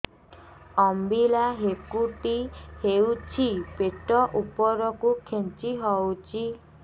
ଅମ୍ବିଳା ହେକୁଟୀ ହେଉଛି ପେଟ ଉପରକୁ ଖେଞ୍ଚି ହଉଚି